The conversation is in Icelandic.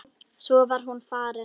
Svo var hún farin.